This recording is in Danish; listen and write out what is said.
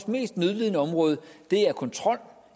mest nødlidende område er kontrol